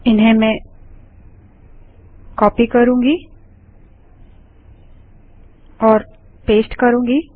जिन्हें मैं कॉपी और पेस्ट करूँगी